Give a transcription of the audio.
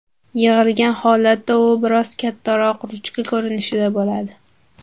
Yig‘ilgan holatda u biroz kattaroq ruchka ko‘rinishida bo‘ladi.